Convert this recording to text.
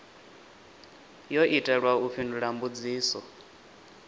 yo itelwa u fhindula mbudziso